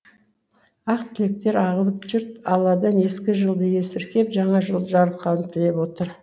ақ тілектер ағылып жұрт алладан ескі жылды есіркеп жаңа жылды жарылқауын тілеп отыр